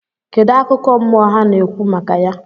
Kedu akụkọ mmụọ ha na-ekwu maka ya?